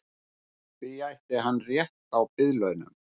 Því ætti hann rétt á biðlaunum